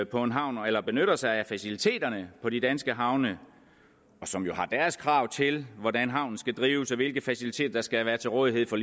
på en havn eller benytter sig af faciliteterne på de danske havne og som jo har deres krav til hvordan havnen skal drives og hvilke faciliteter der skal være til rådighed for